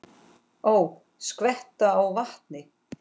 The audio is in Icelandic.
Ó, skvetta á vatni.